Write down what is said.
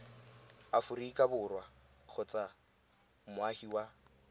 aforika borwa kgotsa moagi wa